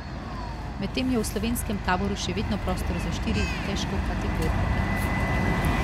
Medtem je v slovenskem taboru še vedno prostor za štiri težkokategornike.